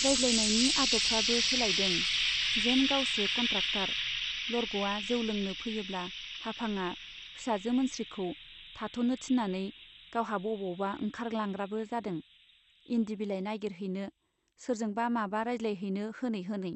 रायज्लायनायनि आदबफ्राबो सोलायदों , जेन गावसो कन्ट्राक्टर लरग'आ जौ लोंनो फैयोब्ला हाफांआ फिसाजो मोनस्रिखौ थाथ'नो थिन्नानै गावहा बबावबा ओंखारलांग्राबो जादों, इन्दि बिलाइ नाइगिरहैनो , सोरजोंबा माबा रायज्लायहैनो होनै होनै।